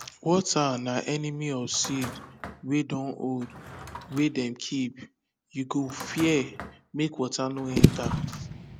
water na enemy of seed wey dun old wey dem keep you go fear make water no enter